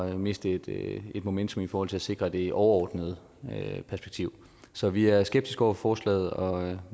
at miste et momentum i forhold til at sikre det overordnede perspektiv så vi er skeptiske over for forslaget og